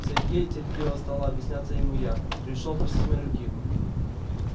сергей терпеливо стала объясняться ему я пришёл просить моей руки